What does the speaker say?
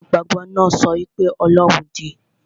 Aláìgbàgbọ náà sọ wí pé ọlọ́run òdì